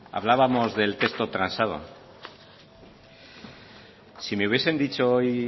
hablábamos del texto transado si me hubiesen dicho hoy